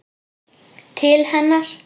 Til hennar.